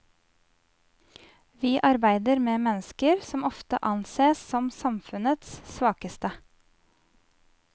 Vi arbeider med mennesker som ofte ansees som samfunnets svakeste.